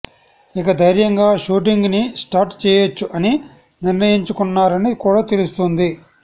ఇక దైర్యంగా షూటింగ్ ని స్టార్ట్ చేయొచ్చు అని నిర్ణయంచుకున్నారని కూడా తెలుస్తోంది